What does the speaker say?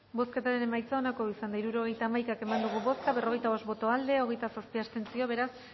bozketaren emaitza onako izan da hirurogeita hamabi eman dugu bozka berrogeita bost boto aldekoa hogeita zazpi abstentzio beraz